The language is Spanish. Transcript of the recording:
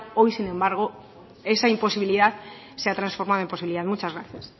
hoy sin embargo esa imposibilidad se ha transformado en posibilidad muchas gracias